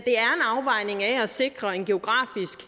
afvejning af at sikre en geografisk